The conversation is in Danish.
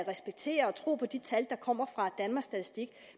respektere og tro på de tal der kommer fra danmarks statistik